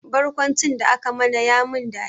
Barkwancin da aka mana ya min dadi